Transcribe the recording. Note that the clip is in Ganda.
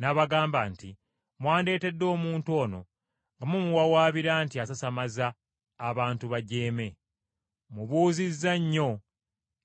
n’abagamba nti, “Mwandeetedde omuntu ono nga mumuwawaabira nti asasamaza abantu bajeeme. Mubuuzizza nnyo